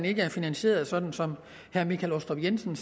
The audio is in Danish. ikke er finansieret sådan som herre michael aastrup jensen